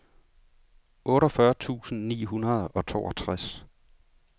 otteogfyrre tusind ni hundrede og toogtres